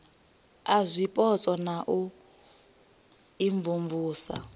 a zwipotso na u imvumvusa